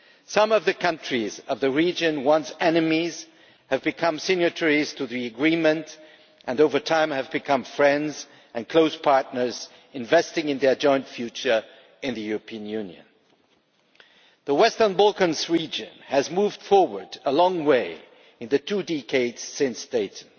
Some of the countries of the region, once enemies, have become signatories to the Agreement and over time have become friends and close partners investing in their joint future in the European Union. The Western Balkans region has moved a long way forward in the two decades since Dayton.